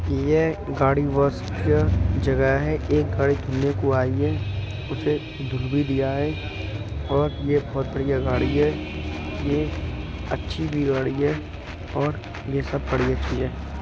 ये गाड़ी वॉश का जगह है। एक गाड़ी धुलने को आई है। उसे धुल भी दिया है और यह बहुत बढ़िया गाड़ी है ये अच्छी भी गाड़ी है और यह सब बड़ी अच्छी है।